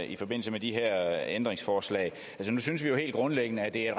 i forbindelse med de her ændringsforslag nu synes vi jo helt grundlæggende at det